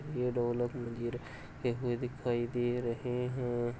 ये ढोलक मंजीरे हुए दिखाई दे रहे हैं |